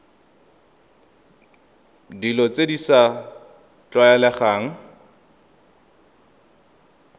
dilo tse di sa tlwaelegang